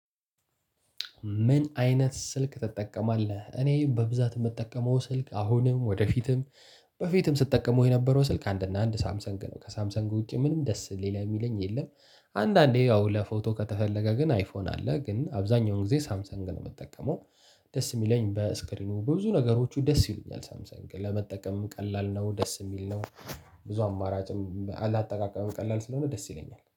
ምን አይነት ስልክ ትጠቀማለህ? እኔ በብዛት የምጠቀመው ስልክ አሁንም ወደፊትም በፊትም ስትጠቀሙ የነበረው ስልክ አንድ እና አንድ ሳምሰንግ ነው ከሳምሰንግ ውጪ ምንም ደስ ሌላ የሚለኝ የለም። አንዳንዴ ያው ለፎቶ ከተፈለገ ግን አይፎን አለ ግን አብዛኛውን ጊዜ ሳምሰን ግን ነው የምጠቀመው። ደስ የሚለኝ በስክሪኑ ቡዙ ነገሮቹ ደስ ይሉኛል ሳምሰንግ ለመጠቀምም ቀላል ነው ደስ የሚል ነው። ብዙ አማራጭም ላጠቃቀመም ቀላል ስለሆነ ደስ ይለኛል።